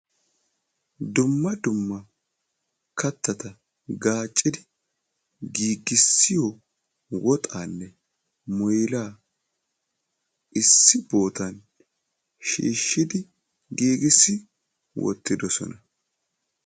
Dumma dumma kattata gaaccidi giigissiyo woxaanne muylaa issi bootan shiishshidi giigissi wottidosona.